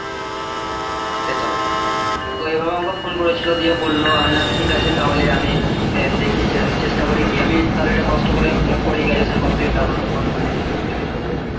হ্যাঁ সেটাই তো এভাবে আমাকে phone করেছিল দিয়ে বললো আমি বললাম ঠিক আছে তাহলে আমি দেখি চেষ্টা চেষ্টা করি কি আমি তাহলে একটু কষ্ট করে graduation complete করি